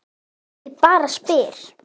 Ég bara spyr.